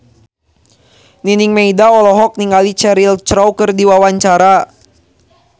Nining Meida olohok ningali Cheryl Crow keur diwawancara